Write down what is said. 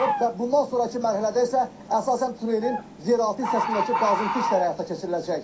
Və bundan sonrakı mərhələdə isə əsasən tunelin yeraltı hissəsindəki qazıntı işləri həyata keçiriləcək.